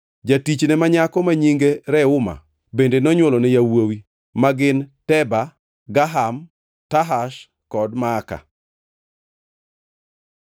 Jatichne ma nyako ma nyinge Reuma bende nonywolone yawuowi, ma gin: Teba, Gaham, Tahash kod Maaka.